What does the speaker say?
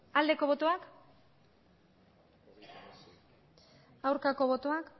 aldeko botoak aurkako botoak